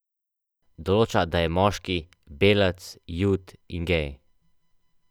Določa, da je moški, belec, Jud in gej.